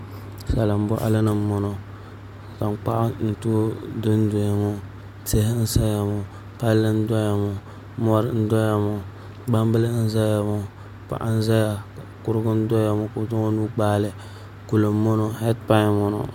Salin boɣali ni n boŋo tankpaɣu n dondonya ŋo tihi n ʒɛya ŋo palli n doya ŋo mori n doya ŋo gbambili n ʒɛya ŋo paɣa n ʒɛya kurigu n doya ŋo ka o zaŋ o nuu gbaali kuli n boŋo heed pai n boŋo